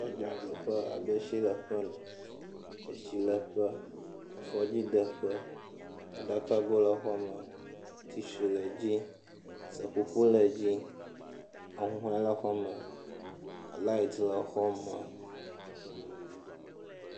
Agiɛ ɖo ƒe abe tsileƒe ene, etsileƒe, afɔdzideƒe, aɖakago le exɔ me, tishui le dzi, seƒoƒo le dzi ahuhɔɛ le exɔ me, laɛt le xɔ me.